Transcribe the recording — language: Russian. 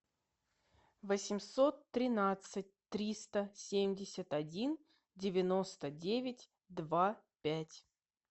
восемьсот тринадцать триста семьдесят один девяносто девять два пять